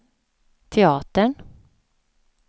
teatern